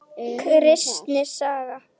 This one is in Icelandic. Kristni saga.